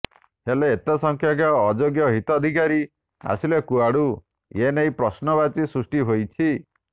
ହେଲେ ଏତେ ସଂଖ୍ୟକ ଅଯୋଗ୍ୟ ହିତାଧିକାରୀ ଆସିଲେ କୁଆଡୁ ଏ ନେଇ ପ୍ରଶ୍ନବାଚୀ ସୃଷ୍ଟି ହୋଇଛି